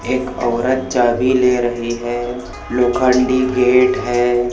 एक औरत चाबी ले रही है लोखंडी गेट है।